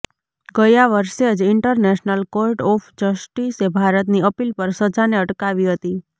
ગયા વર્ષે જ ઇન્ટરનેશનલ કોર્ટ ઑફ જસ્ટીસે ભારતની અપીલ પર સજાને અટકાવી હતી